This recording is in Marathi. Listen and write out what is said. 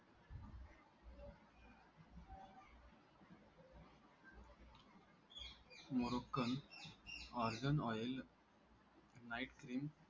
Moroccan argan oil night cream